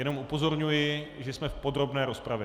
Jenom upozorňuji, že jsme v podrobné rozpravě.